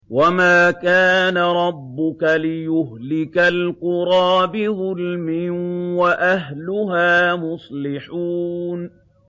وَمَا كَانَ رَبُّكَ لِيُهْلِكَ الْقُرَىٰ بِظُلْمٍ وَأَهْلُهَا مُصْلِحُونَ